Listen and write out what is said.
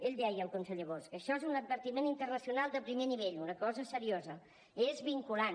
ell deia el conseller bosch això és un advertiment internacional de primer nivell una cosa seriosa és vinculant